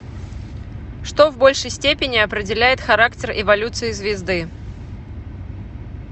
что в большей степени определяет характер эволюции звезды